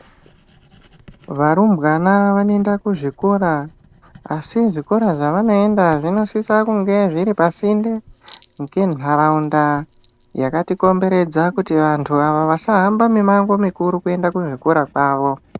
Varumbwana vanoenda kuzvikora asi zvikora zvavanoenda zvinosisa kunge zviripasinde ngentaraunda yakatikomberedza kuti vantu ava vasahamba mimango mikuru kuenda kuzvikora kwavo.